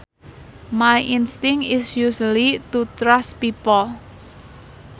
My instinct is usually to trust people